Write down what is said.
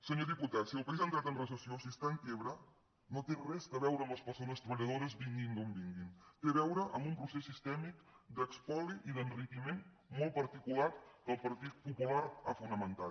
senyor diputat si el país ha entrat en recessió si està en fallida no té res a veure amb les persones treballa·dores vinguin d’on vinguin té a veure amb un procés sistèmic d’espoli i d’enriquiment molt particular que el partit popular ha fonamentat